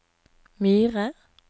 Myre